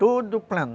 Todo plano.